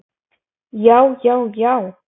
já já já!